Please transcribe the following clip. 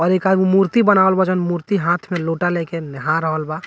और एक आदमी मुर्ति बनावल बा जोन मुर्ति हाथ में लोटा लेके नहा रहल बा।